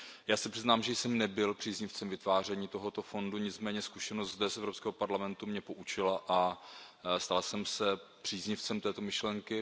Já se přiznám, že jsem nebyl příznivcem vytváření tohoto fondu, nicméně zkušenost z Evropského parlamentu mě poučila a stal jsem se příznivcem této myšlenky.